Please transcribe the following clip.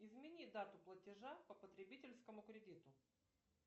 измени дату платежа по потребительскому кредиту